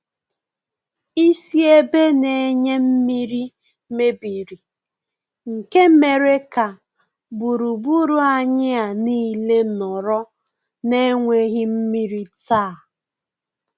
Isi ebe na-enye mmiri mebiri nke mere ka gburugburu anyị a nile nọrọ na enweghị mmiri taa.